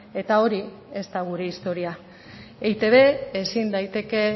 eta hori ez da gure historia eitb ezin daiteke